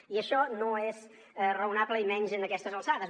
i això no és raonable i menys en aquestes alçades